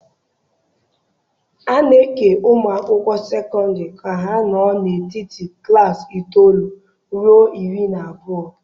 A na-eke ụmụ akwụkwọ sekọndrị ka ha nọ n'etiti klaasị itoolu ruo iri na abụọ.